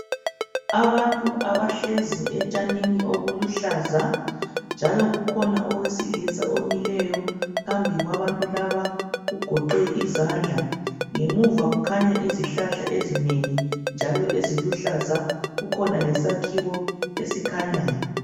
Abantu abahlezi etshanini obuluhlaza njalo kukhona owesilisa omileyo phambi kwabantu laba ugoqe izandla. Ngemuva kukhanya izihlahla ezinengi njalo eziluhlaza, kukhona lesakhiwo esikhanyayo.